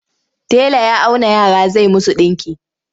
Tela ya auna yara zai musu ɗinki.